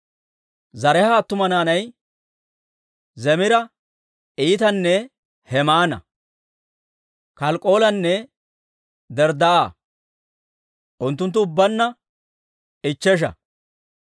Zaraaha attuma naanay Zimira, Etaana, Hemaana, Kalkkoolanne Darddaa'a; unttunttu ubbaanna ichchesha.